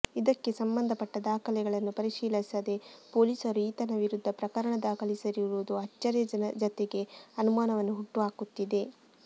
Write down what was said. ಇದಕ್ಕೆ ಸಂಬಂಧಪಟ್ಟ ದಾಖಲೆಗಳನ್ನು ಪರಿಶೀಲಿಸದೇ ಪೊಲೀಸರು ಈತನ ವಿರುದ್ಧ ಪ್ರಕರಣ ದಾಖಲಿಸಿರುವುದು ಅಚ್ಚರಿಯ ಜತೆಗೆ ಅನುಮಾನವನ್ನು ಹುಟ್ಟುಹಾಕುತ್ತಿದೆ